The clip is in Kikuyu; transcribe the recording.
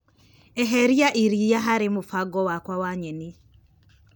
Eheria iria harĩ mũbango wakwa wa nyeni.